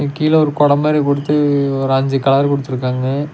கீழ ஒரு கொட மாரி குடுத்து ஒரு அஞ்சு கலர் குடுதுருகாங்க.